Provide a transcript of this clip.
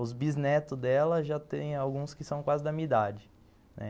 Os bisnetos dela já tem alguns que são quase da minha idade, né.